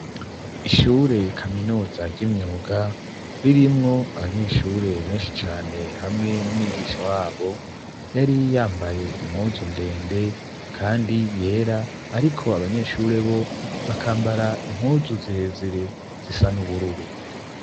Ishure kaminuza ry'imyuga ririmwo abanyeshure benshi cane hamwe n'umwigisha wabo yari yambaye impuzu ndende, kandi yera, ariko abanyeshure bo bakambara impuzu zirezire zisa n'ubururu.